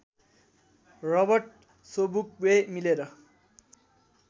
Robert Sobukwe मिलेर